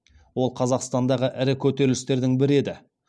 ол қазақстандағы ірі көтерілістердің бірі еді